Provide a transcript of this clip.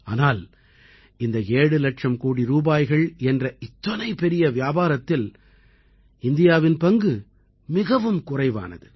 ஆனால் இந்த ஏழு இலட்சம் கோடி ரூபாய்கள் என்ற இத்தனை பெரிய வியாபாரத்தில் இந்தியாவின் பங்கு மிகவும் குறைவானது